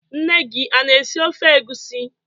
Nne gi ana-esi ofe egusi?